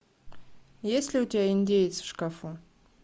есть ли у тебя индеец в шкафу